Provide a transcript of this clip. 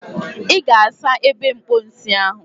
Ị ga-asa ebe mposi ahụ.